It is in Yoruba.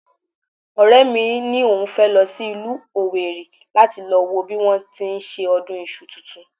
Ọ̀rẹ́ mi ni òun fẹ́ lọ sí ìlú owerri láti lọ wo bí wọ́n ti ń ṣe ọdún iṣu tuntun